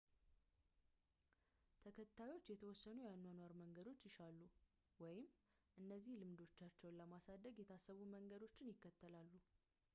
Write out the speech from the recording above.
ተከታዮች የተወሰኑ የአኗኗር መንገዶችን ይሻሉ ወይም እነዚያን ልምዶቻቸውን ለማሳደግ የታሰቡ መንገዶችን ይከተላሉ